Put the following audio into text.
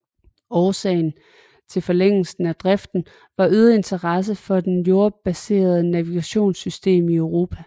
Årsagen til forlængelsen af driften var øget interesse for det jordbaserede navigationssystem i Europa